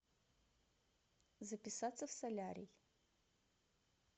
записаться в солярий